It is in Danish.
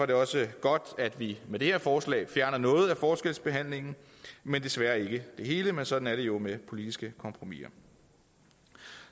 det også godt at vi med det her forslag fjerner noget af forskelsbehandlingen men desværre ikke det hele men sådan er det jo med politiske kompromiser